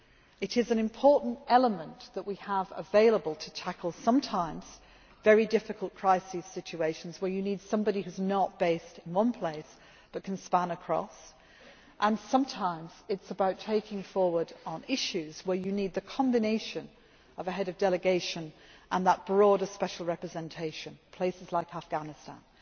the service. It is an important element that we have available to tackle sometimes very difficult crisis situations where you need somebody who is not based in one place, but can span across, and sometimes it is about moving forward on issues where you need the combination of a Head of Delegation and that broader special representation, places like